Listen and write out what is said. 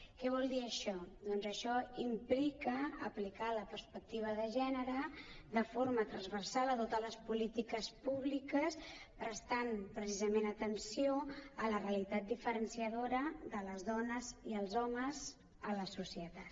què vol dir això doncs això implica aplicar la perspectiva de gènere de forma transversal a totes les polítiques públiques prestant precisament atenció a la realitat diferenciadora de les dones i els homes a la societat